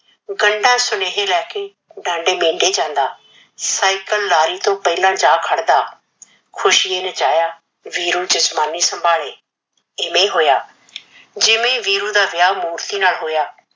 ਗੰਢਾਂ ਸੁਨੇਹੇ ਲੈ ਕੇ ਡਾਂਡੇ ਮੀਂਢੇ ਜਾਂਦਾ। ਸਾਈਕਲ ਲਾਰੀ ਤੋਂ ਪਹਿਲਾ ਜਾ ਖੜਦਾ। ਖੁਸ਼ੀ ਨੇ ਚਾਹਿਆ ਵੀਰੂ ਜਜਮਾਨੀ ਸੰਭਾਲੇ, ਇਵੇਂ ਹੋਇਆ। ਜਿਵੇਂ ਵੀਰੂ ਦਾ ਵਿਆਹ ਮੂਰਤੀ ਨਾਲ ਹੋਇਆ